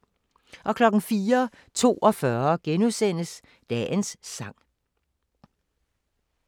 04:42: Dagens sang *